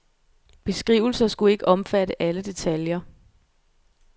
Beskrivelser skulle ikke omfatte alle detaljer.